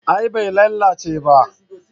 A'a bai lalace ba